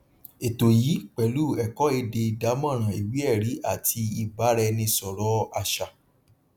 ètò yìí pẹlú ẹkọ èdè ìdámọràn ìwéẹrí àti ìbáraẹnisọrọ àṣà